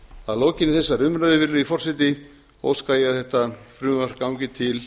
að lokinni þessari umræðu virðulegi forseti óska ég að þetta frumvarp gangi til